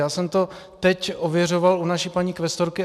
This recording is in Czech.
Já jsem to teď ověřoval u naší paní kvestorky.